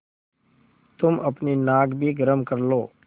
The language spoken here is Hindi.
तुम अपनी नाक भी गरम कर लो